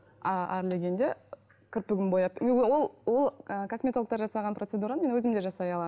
а әрлегенде кірпігімді бояп ол ол ы косметологтар жасаған процедураны мен өзім де жасай аламын